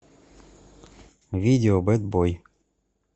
видео бэд бой